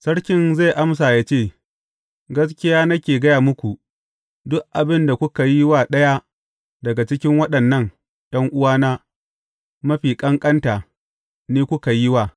Sarkin zai amsa ya ce, Gaskiya nake gaya muku, duk abin da kuka yi wa ɗaya daga cikin waɗannan ’yan’uwana mafi ƙanƙanta, ni kuka yi wa.’